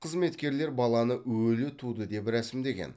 қызметкерлер баланы өлі туды деп рәсімдеген